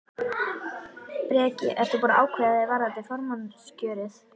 Breki: Ert þú búinn að ákveða þig varðandi formannskjörið?